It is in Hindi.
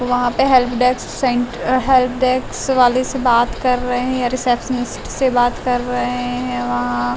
वहाँ पे हेल्प डेस्क सेण्ट हेल्प डेस्क वाले से बात कर रहे हैं रिसेप्शनिस्ट से बात कर रहे हैं वहाँ --